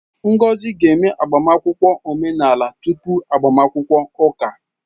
Ngozi ga-eme agbamakwụkwọ omenala tupu agbamakwụkwọ ụka